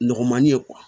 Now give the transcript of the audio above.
Nɔgɔ man di